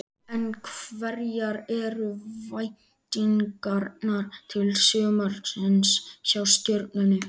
En hverjar eru væntingarnar til sumarsins hjá Stjörnunni?